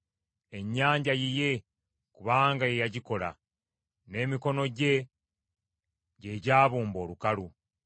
Ennyanja yiye, kubanga ye yagikola; n’emikono gye, gye gyabumba olukalu.